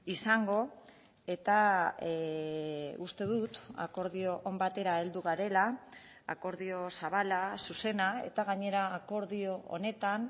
izango eta uste dut akordio on batera heldu garela akordio zabala zuzena eta gainera akordio honetan